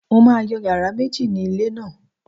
Mo máa yọ yàrá méjì ni ilé náà